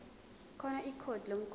khona ikhodi lomgwaqo